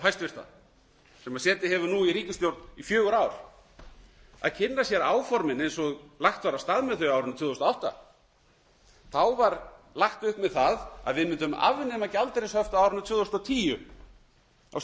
sem setið hefur nú í ríkisstjórn í fjögur ár að kynna sér áformin eins og lagt var af stað með þau á árinu tvö þúsund og átta þá var lagt upp með það að við mundum afnema gjaldeyrishöft á árinu tvö þúsund og tíu á